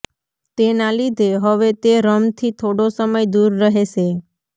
તેના લીધે હવે તે રમથી થોડો સમય દૂર રહેશે